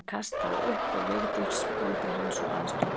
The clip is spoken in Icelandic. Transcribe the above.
Hann kastaði upp og Vigdís kom til hans og aðstoðaði hann.